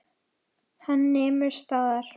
Hann nemur staðar.